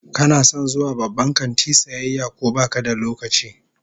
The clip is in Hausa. Kana son zuwa babban kanti sayayya ko baka da lokaci?